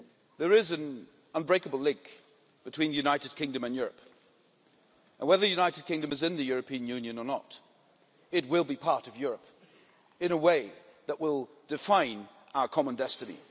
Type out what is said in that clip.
There is an unbreakable link between the United Kingdom and Europe, and whether the United Kingdom is in the European Union or not it will be part of Europe in a way that will define our common destiny.